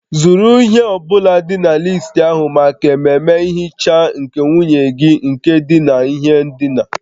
Zụrụ ihe ọ bụla dị na listi ahụ maka ememe nhicha nke nwunye gị nke dina n'ihe ndina